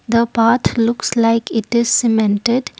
the path looks like it is cemented.